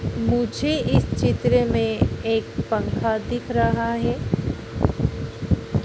मुझे इस चित्र में एक पंखा दिख रहा है।